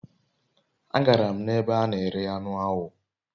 agara m ebe ana ere anu awo